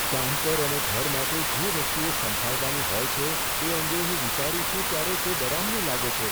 કામ પર અને ઘરે માટે જે વસ્તુઓ સંભાળવાની હોય છે તે અંગે હું વિચારું છું ત્યારે તે ડરામણું હોય છે.